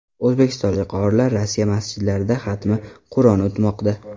O‘zbekistonlik qorilar Rossiya masjidlarida xatmi Qur’on o‘tmoqda .